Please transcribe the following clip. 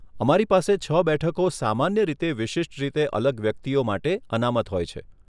અમારી પાસે છ બેઠકો સામાન્ય રીતે વિશિષ્ટ રીતે અલગ વ્યક્તિઓ માટે અનામત હોય છે.